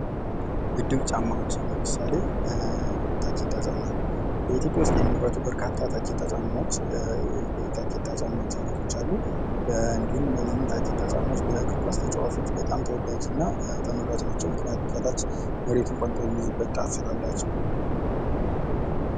ምድብ ጫማዎች ለምሳሌ ታኬታ ጫማ በኢትዮጵያ ውስጥ የሚመረቱ በርካታ ታኬታ የጫማዎች አይነቶች አሉ ።እንዲሁም እነዚህ ታኬታ ጫማዎች ተጫዋቾች በጣም ተወዳጅና ተመራጭ ናቸው። ምክንያቱም ከታች መሬቱን ቆንጥጦ የሚይዝበት ጣት ስላላቸው።